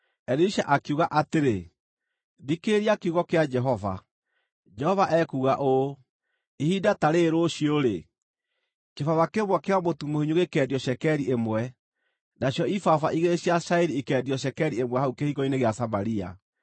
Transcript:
Elisha akiuga atĩrĩ, “Thikĩrĩria kiugo kĩa Jehova. Jehova ekuuga ũũ: Ihinda ta rĩĩrĩ rũciũ-rĩ, kĩbaba kĩmwe kĩa mũtu mũhinyu gĩkeendio cekeri ĩmwe, nacio ibaba igĩrĩ cia cairi ikeendio cekeri ĩmwe hau kĩhingo-inĩ gĩa Samaria.”